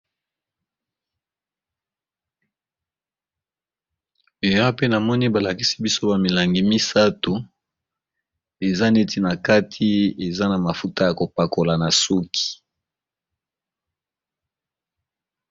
Eya pe na moni balakisi biso ba milangi misato eza neti na kati eza na mafuta ya kopakola na suki.